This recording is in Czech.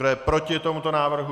Kdo je proti tomuto návrhu?